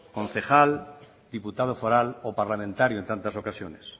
concejal diputado foral o parlamentario en tantas ocasiones